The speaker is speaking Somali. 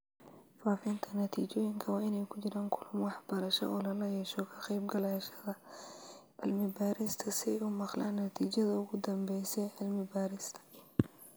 Faafinta natiijooyinka waa inay ku jiraan kulamo waxbarasho oo lala yeesho ka qaybgalayaasha cilmi-baarista si ay u maqlaan natiijada ugu dambeysa ee cilmi-baarista